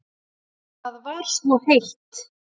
Það var svo heitt.